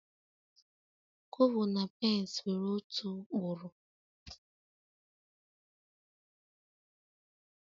Kobo na pence nwere otu ụkpụrụ